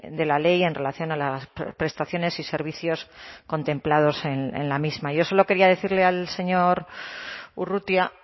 de la ley en relación a las prestaciones y servicios contemplados en la misma yo solo quería decirle al señor urrutia